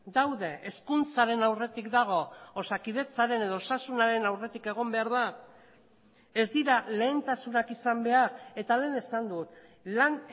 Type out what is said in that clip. daude hezkuntzaren aurretik dago osakidetzaren edo osasunaren aurretik egon behar da ez dira lehentasunak izan behar eta lehen esan dut lan